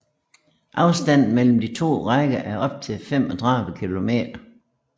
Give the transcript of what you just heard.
Afstanden mellem de to rækker er op til 35 km